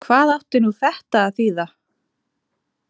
Hvað átti nú þetta að þýða!